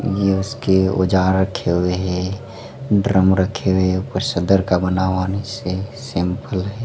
ये उसके औजार रखे हुए हैं ड्रम रखे हुए ऊपर सदर का बना हुआ नीचे से सैंपल है।